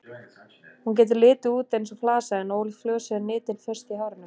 Hún getur litið út eins og flasa en ólíkt flösu er nitin föst í hárinu.